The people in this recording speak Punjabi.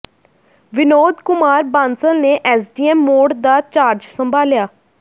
ਵਿਨੋਦ ਕੁਮਾਰ ਬਾਂਸਲ ਨੇ ਐੱਸਡੀਐੱਮ ਮੌੜ ਦਾ ਚਾਰਜ ਸੰਭਾਲਿਆ